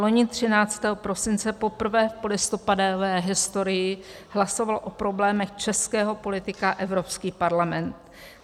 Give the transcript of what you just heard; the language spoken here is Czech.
Loni 13. prosince poprvé v polistopadové historii hlasoval o problémech českého politika Evropský parlament.